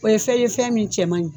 O ye fɛn ye fɛn min cɛ man ɲi.